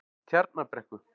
Tjarnarbrekku